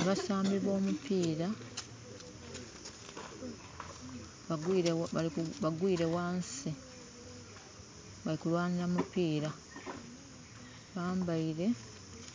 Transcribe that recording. Abasambi b'omupiira bagwile ghansi, bali kulwanila mupiira. Bambaile